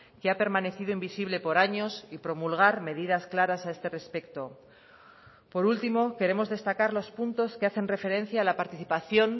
que ha permanecido invisible por años y promulgar medidas claras a este respecto por último queremos destacar los puntos que hacen referencia a la participación